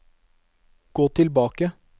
gå tilbake